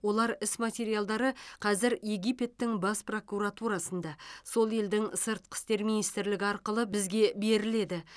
олар іс материалдары қазір египеттің бас прокуратурасында сол елдің сыртқы істер министрлігі арқылы бізге беріледі